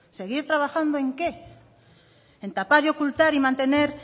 seguir trabajando en qué en tapar ocultar y mantener